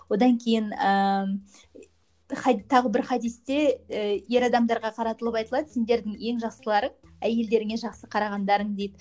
одан кейін ыыы тағы бір хадисте і ер адамдарға қаратылып айтылады сендердің ең жақсыларың әйелдеріңе жақсы қарағандарың дейді